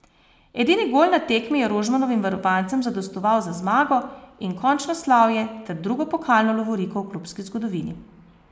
Edini gol na tekmi je Rožmanovim varovancem zadostoval za zmago in končno slavje, ter drugo pokalno lovoriko v klubski zgodovini.